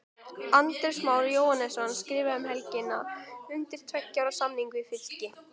Andrés Már Jóhannesson skrifaði um helgina undir tveggja ára samning við Fylki.